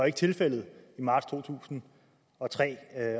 ikke tilfældet i marts to tusind og tre